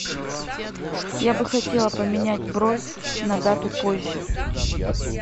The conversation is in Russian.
я бы хотела поменять бронь на дату позже